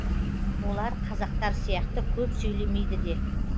олар қазақтар сияқты көп сөйлемейді де